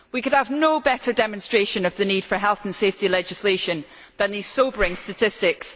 We could have no better demonstration of the need for health and safety legislation than these sobering statistics.